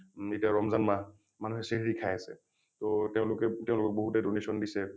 ম এতিয়া ৰমজান মাহ , মানুহে চেহেৰি খাই আছে । টো তেওঁলোকে তেওঁলোকক বহুতে donation দিছে